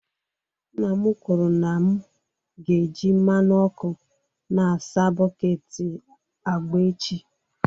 Nna m kwuru na m ga-eji mmanụ ọkụ na-asa bọket agba echi.